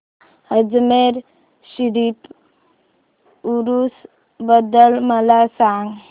अजमेर शरीफ उरूस बद्दल मला सांग